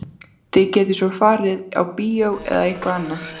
Þið getið svo farið á bíó eða eitthvað annað.